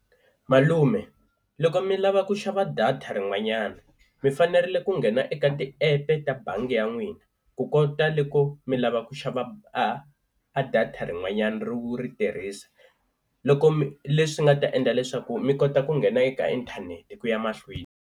Malume loko mi lava ku xava data rin'wanyana mi fanerile ku nghena eka ti epe ta bangi ya n'wina ku kota loko mi lava ku xava a a data rin'wanyana ri wu ri tirhisa, loko mi leswi nga ta endla leswaku mi kota ku nghena eka inthanete ku ya mahlweni.